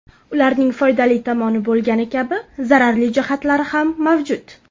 Ularning foydali tomoni bo‘lgani kabi zararli jihatlari ham mavjud.